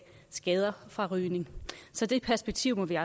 skader fra rygning så det perspektiv må vi